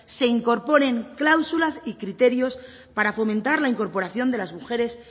se incorporen cláusulas y criterios para fomentar la incorporación de las mujeres